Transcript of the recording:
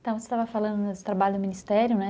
Então, você estava falando do trabalho do Ministério, né?